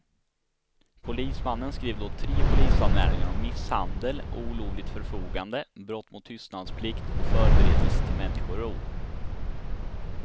Polismannen skrev då tre polisanmälningar om misshandel, olovligt förfogande, brott mot tystnadsplikt och förberedelse till människorov.